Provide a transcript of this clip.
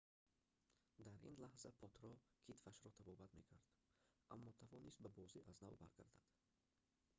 дар ин лаҳза потро китфашро табобат мекард аммо тавонист ба бозӣ аз нав баргардад